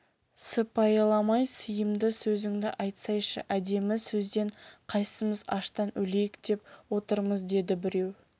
сыпайыламай сыйымды сөзіңді айтсайшы әдемі сөзден қайсымыз аштан өлейік деп отырмыз деді біреу